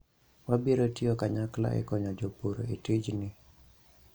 wabiro tiyo kanyakla e konyo jopur e tijni